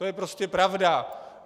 To je prostě pravda.